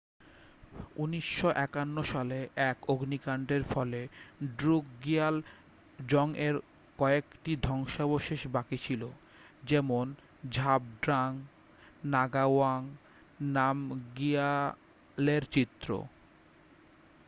1951 সালে এক অগ্নিকাণ্ডের ফলে ড্রুকগিয়াল জংয়ের কয়েকটি ধ্বংসাবশেষই বাকি ছিল যেমন ঝাবড্রাং নাগাওয়াং নামগিয়ালের চিত্র